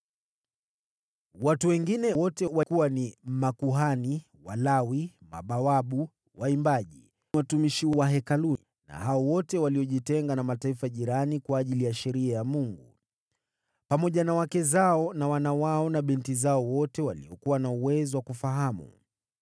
“Watu wengine wote, wakiwa ni makuhani, Walawi, mabawabu, waimbaji, watumishi wa Hekalu, na wale wote waliojitenga na mataifa jirani kwa ajili ya Sheria ya Mungu, pamoja na wake zao na wana wao na binti zao wote waliokuwa na uwezo wa kufahamu,